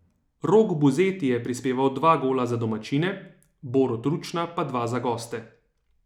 Rok Buzeti je prispeval dva gola za domačine, Borut Ručna pa dva za goste.